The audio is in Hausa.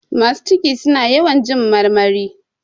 Masu ciki suna yawan jin marmari.